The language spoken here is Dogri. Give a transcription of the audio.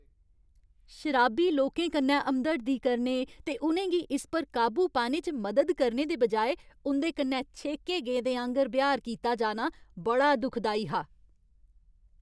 शराबी लोकें कन्नै हमदर्दी करने ते उ'नें गी इस पर काबू पाने च मदद करने दे बजाए उं'दे कन्नै छेके गेदें आंह्‌गर ब्यहार कीता जाना बड़ा दुखदाई हा।